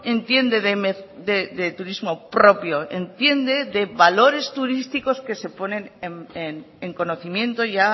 entiende de turismo propio entiende de valores turísticos que se ponen en conocimiento ya